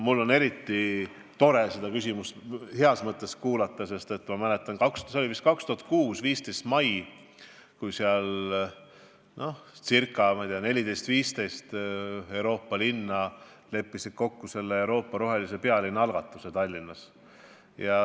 Mul on eriti hea meel seda küsimust kuulda, sest ma mäletan, et see oli 2006. aasta 15. mai, kui 14 või 15 Euroopa linna leppisid Tallinnas kokku Euroopa rohelise pealinna algatuse.